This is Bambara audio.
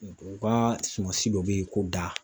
U ka sumansi dɔ bɛ yen ko da.